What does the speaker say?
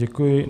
Děkuji.